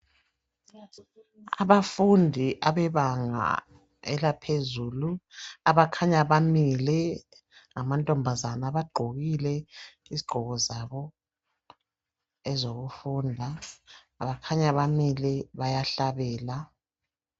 Abafundi abebanga elaphezulu abakhanya bemile ngamantombazana bagqokile izigqoko zabo ezokufunda bakhanya bamile bayahlabela.